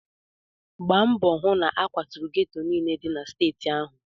Gbaa mbọ hụ na a kwaturu geto niile dị na steeti ahụ!